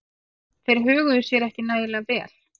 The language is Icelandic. Þeir höguðu sér ekki nægilega vel.